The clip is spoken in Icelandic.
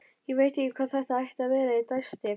Ég veit ekki hvað það ætti að vera- dæsti